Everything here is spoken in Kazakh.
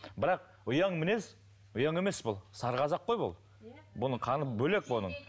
бірақ ұяң мінез ұяң емес бұл сары қазақ қой бұл бұның қаны бөлек оның